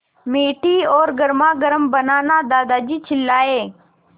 मीठी और गर्मागर्म बनाना दादाजी चिल्लाए